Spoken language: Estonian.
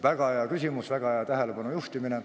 Väga hea küsimus, väga hea tähelepanu juhtimine.